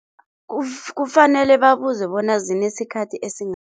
Kufanele babuze bona zinesikhathi